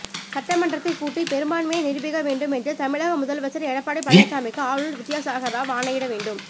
சட்டமன்றத்தை கூட்டி பெரும்பான்மையை நிரூபிக்கவேண்டும் என்று தமிழக முதலமைச்சர் எடப்பாடி பழனிசாமிக்கு ஆளுநர் வித்யாசாகர் ராவ் ஆணையிட வேண்டும்